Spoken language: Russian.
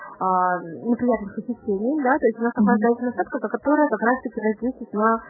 круглосуточный магазин